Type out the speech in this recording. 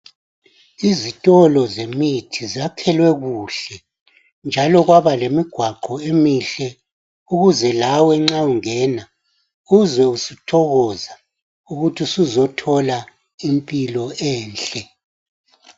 Izitolo zemithi zakhelwe kuhle njalo kwaba lemigwaqo emihle ukuze lawe nxa ungena uzwe uthokoza ukuthi suzothola impilo enhle.